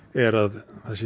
er að